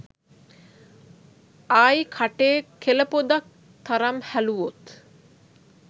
ආයි කටේ කෙළ පොදක් තරම් හැලුවොත්